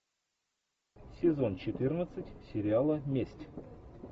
сезон четырнадцать сериала месть